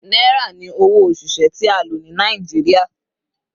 Naira ni owo osise ti a lo ni Naijiria